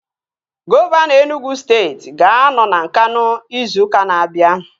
Gọvanọ Enugwu steeti ga-anọ na Nkanụ ịzụ ụka na-abia